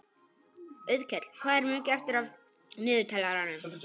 Auðkell, hvað er mikið eftir af niðurteljaranum?